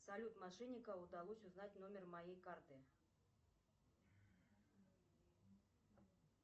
салют мошеннику удалось узнать номер моей карты